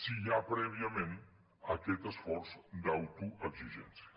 si hi ha prèviament aquest esforç d’autoexigència